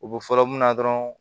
U bɛ fɔlɔ mun na dɔrɔn